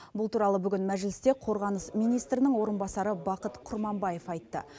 бұл туралы бүгін мәжілісте қорғаныс министрінің орынбасары бақыт құрманбаев айтты